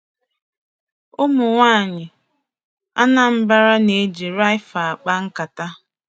Ụmụ nwaanyị Anambra na-eji raffia akpa nkata.